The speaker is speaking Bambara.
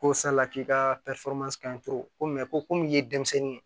Ko sala k'i ka ko ko min ye denmisɛnnin ye